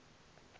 tao marking